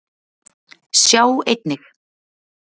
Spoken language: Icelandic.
Sjá einnig: